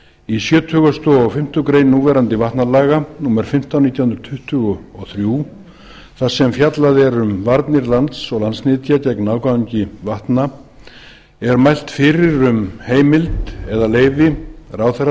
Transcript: í sjötugasta og fimmtu grein núverandi vatnalaga númer fimmtán nítján hundruð tuttugu og þrjú þar sem fjallað er um varnir lands og landsnytja gegn ágangi vatna er mælt fyrir um heimild eða leyfi ráðherra